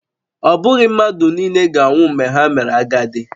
Ọ bụghị mmadụ nile ga-anwụ mgbe ha mere agadi